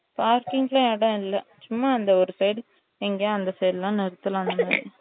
parking லாம் இடம் இல்லை சும்மா இந்த ஒரு side எங்கையும் அந்த side லாம் நிறுத்தலாம்